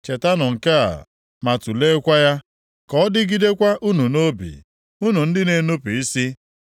“Chetanụ nke a, ma tuleekwa ya, ka ọ dịgidekwa unu nʼobi, unu ndị na-enupu isi.